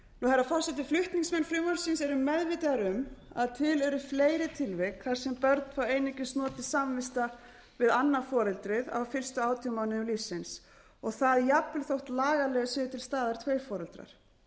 herra forseti flutningsmenn frumvarpsins eru meðvitaðir um að til eru fleiri tilvik þar sem börn fá einungis notið samvista við annað foreldrið á fyrstu átján mánuðum lífsins og það jafnvel þótt lagalega séu til staðar tveir foreldrar ekki